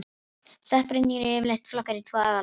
Stökkbreytingar eru yfirleitt flokkaðar í tvo aðalflokka.